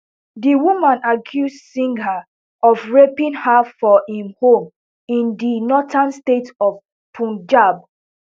di woman accuse singh of raping her for im home in di northern state of punjab